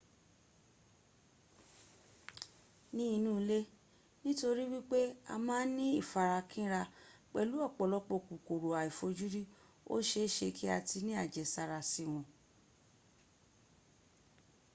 ni inu ile nitori wipe a ma n ni ifarakinra pelu opolopo kokoro aifojuri o seese ki a ti ni ajesara si won